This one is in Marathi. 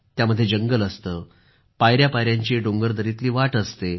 त्यामध्ये जंगल असतं पायऱ्यापायऱ्यांची डोंगरदरीतली वाट असते